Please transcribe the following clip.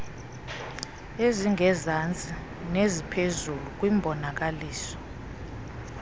ezingezantsi neziphezulu kwimbonakaliso